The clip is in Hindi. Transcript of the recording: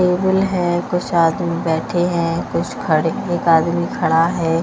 है कुछ आदमी बैठे हैं कुछ खड़े एक आदमी खड़ा है।